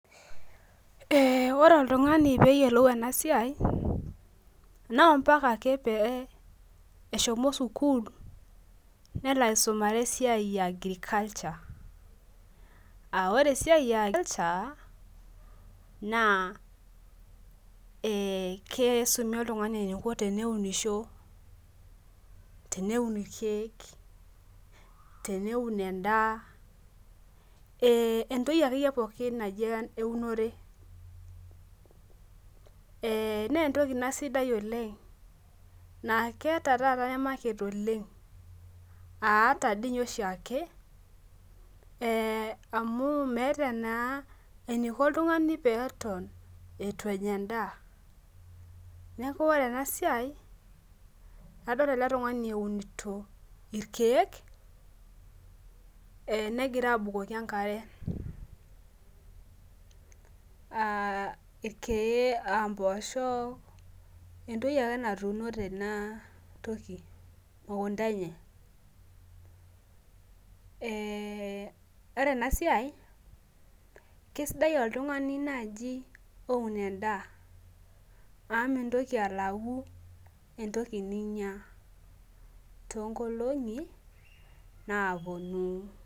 Ore oltungani peyiolou enasiai na mpaka ake peshomo sukul nelo aisumare esiaia e agriculture aa lre enasia na e kisumi oltungani teniko teneunisho teneun irkiek, teneun endaa entokibakeyie pooki eunore na entoki ina sidai oleng na keeta taata Market oleng aata oshiake amu meeta na eniko oltungani peton ituenya endaa neakuore enasia adolta oltungani eunito irkiek negira abukoki enkare irkiek, impoosho, entoki ake natuuno tenewueji enamukunda enyebore enasiai kesidai oleng oltungani oun endaa amu mintoki alau entoki ninya tonkolongi naponu.